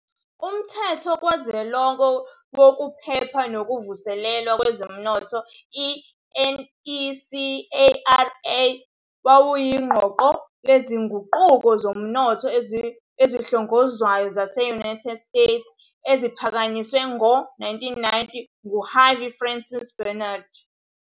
Umthetho Kazwelonke Wokuphepha Nokuvuselelwa Kwezomnotho, i-NESARA, wawuyiqoqo lezinguquko zezomnotho ezihlongozwayo zase- United States eziphakanyiswe ngawo-1990 nguHarvey Francis Barnard.